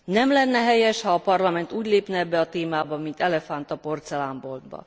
Nem lenne helyes, ha a Parlament úgy lépne ebbe a témába, mint elefánt a porcelánboltba.